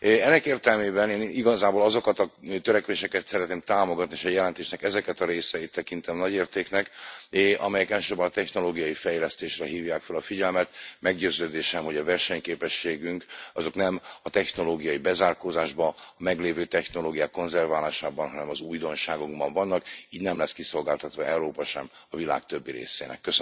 Ennek értelmében én igazából azokat a törekvéseket szeretném támogatni, és a jelentésnek ezeket a részeit tekintem nagy értéknek, amelyek elsősorban a technológiai fejlesztésre hívják fel a figyelmet. Meggyőződésem, hogy a versenyképességünk, az nem a technológiai bezárkózásban, a meglévő technológiák konzerválásában, hanem az újdonságokban vannak, így nem lesz kiszolgáltatva Európa sem a világ többi részének.